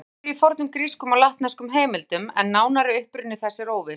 Orðið kemur fyrir í fornum grískum og latneskum heimildum en nánari uppruni þess er óviss.